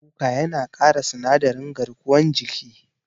Miyan kuka yana ƙara sinadarin garkuwan jiki.